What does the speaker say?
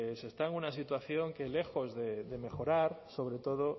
pues está en una situación que lejos de mejorar sobre todo